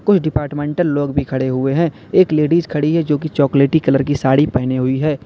कुछ डिपार्टमेंटल लोग भी खड़े हुए हैं एक लेडीज खड़ी है जोकि चॉकलेटी कलर की साड़ी पहनें हुई है।